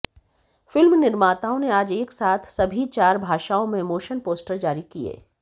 film निर्माताओं ने आज एक साथ सभी चार भाषाओं में मोशन पोस्टर जारी किए